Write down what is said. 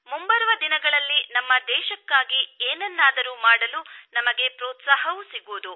ಮುಂಬರುವ ದಿನಗಳಲ್ಲಿ ನಮ್ಮ ದೇಶಕ್ಕಾಗಿ ಏನನ್ನಾದರೂ ಮಾಡಲುನಮಗೆ ಪ್ರೋತ್ಸಾಹವೂ ಸಿಗುವುದು